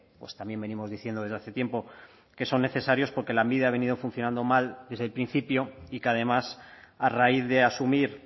pues también venimos diciendo desde hace tiempo que son necesarios porque lanbide ha venido funcionando mal desde el principio y que además a raíz de asumir